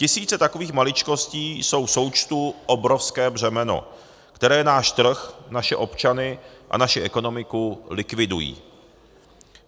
Tisíce takových maličkostí jsou v součtu obrovské břemeno, které náš trh, naše občany a naši ekonomiku likvidují.